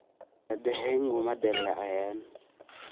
Muraayadahaagu ma dillaaceen?